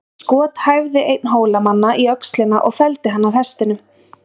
Skot hæfði einn Hólamanna í öxlina og felldi hann af hestinum.